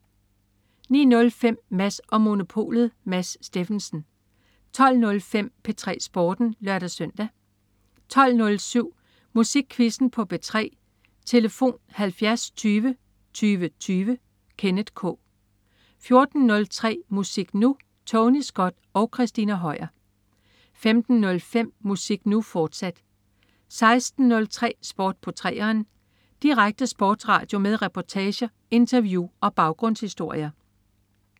09.05 Mads & Monopolet. Mads Steffensen 12.05 P3 Sporten (lør-søn) 12.07 Musikquizzen på P3. Tlf.: 70 20 20 20. Kenneth K 14.03 Musik Nu! Tony Scott og Christina Høier 15.05 Musik Nu!, fortsat 16.03 Sport på 3'eren. Direkte sportsradio med reportager, interview og baggrundshistorier